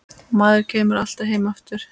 Maður kemur alltaf heim aftur